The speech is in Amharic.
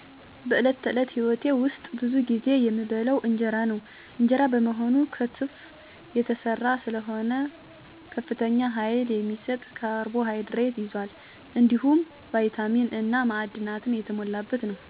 በዕለት ተዕለት ሕይወቴ ውስጥ ብዙ ጊዜ የምበላው እንጀራ ነው። እንጀራ በመሆኑ ከተፍ የተሰራ ስለሆነ ከፍተኛ ኃይል የሚሰጥ ካርቦሃይድሬት ይዟል፣ እንዲሁም ቪታሚን እና ማዕድናት የተሞላበት ነው። ይህ ምግብ በምግብ ጠረጴዛ ላይ አብዛኛውን ጊዜ ከወጥ ጋር ይቀላቀላል፣ ይህም አስፈላጊ ፕሮቲንና ተጨማሪ ንጥረ ነገር እንዲጨምር ያደርጋል። ከእንጀራ በተጨማሪ አንዳንድ ጊዜ ዳቦ እበላለሁ። ዳቦም ኃይል የሚሰጥ ምግብ ነው። እንጀራና ዳቦ ለእኔ ብቻ ሳይሆን ከቤተሰቤ ጋር በልዩ ልዩ ባህላዊ ስርአት የምካፈላቸውም ስለሆኑ ትውስታዎችን የሚያያዙ ምግቦች ናቸው።